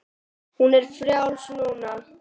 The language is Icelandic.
Hún er frjáls núna.